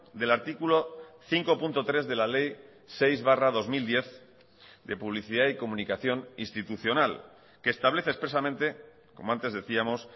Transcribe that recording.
del artículo cinco punto tres de la ley seis barra dos mil diez de publicidad y comunicación institucional que establece expresamente como antes decíamos